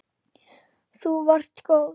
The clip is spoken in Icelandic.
Þú varst góð.